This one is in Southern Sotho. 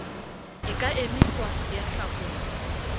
e ka emiswa ya hlakolwa